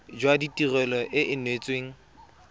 jwa tirelo e e neetsweng